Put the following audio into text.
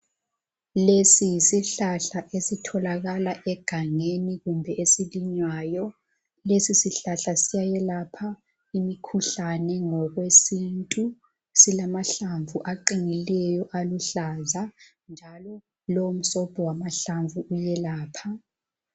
Lesi yisihlahla esitholakala egangeni kumbe esilinywayo. Lesisihlahla siyayelapha imikhuhlane ngokwesintu. Silamahlamvu aqinileyo aluhlaza, njalo lomsobho wamahlamvu uyelapha.